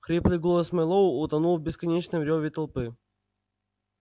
хриплый голос мэллоу утонул в бесконечном рёве толпы